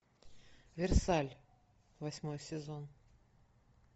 версаль восьмой сезон